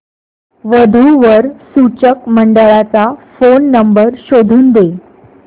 वधू वर सूचक मंडळाचा फोन नंबर शोधून दे